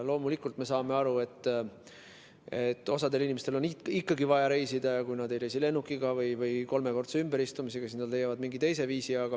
Loomulikult, me saame aru, et osal inimestel on ikkagi vaja reisida ja kui nad ei reisi lennukiga ja kolmekordse ümberistumisega, siis nad leiavad mingi teise viisi.